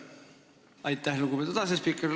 Aitäh, lugupeetud asespiiker!